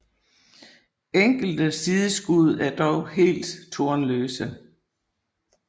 Enkelte sideskud er dog helt tornløse